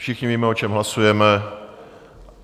Všichni víme, o čem hlasujeme.